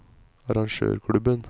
arrangørklubben